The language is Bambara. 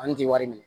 An tɛ wari minɛ